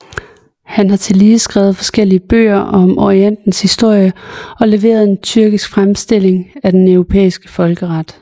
Han har tillige skrevet forskellige bøger om Orientens historie og leveret en tyrkisk fremstilling af den europæiske folkeret